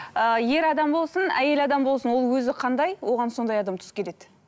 ыыы ер адам болсын әйел адам болсын ол өзі қандай оған сондай адам келеді